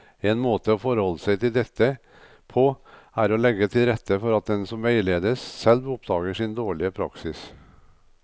En måte å forholde seg til dette på er å legge til rette for at den som veiledes, selv oppdager sin dårlige praksis.